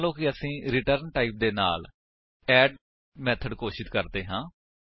ਮੰਨਲੋ ਕਿ ਹੁਣ ਅਸੀ ਰਿਟਰਨ ਟਾਈਪ ਦੇ ਨਾਲ ਅੱਡ ਮੇਥਡ ਘੋਸ਼ਿਤ ਕਰਦੇ ਹਾਂ